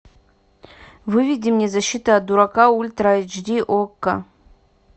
выведи мне защита от дурака ультра эйч ди окко